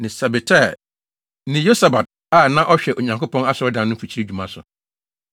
ne Sabetai ne Yosabad a na wɔhwɛ Onyankopɔn Asɔredan no mfikyiri dwumadi so;